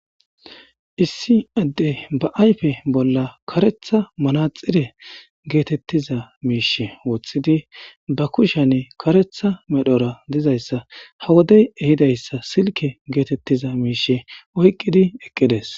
issi adde ba ayfe bolla karetha manaxire geetettiza miishe woththidi ba kushenne karetha medhora dizayssa ha wodey ehidayssa silke geetettiza miishe oyqqidi eqqides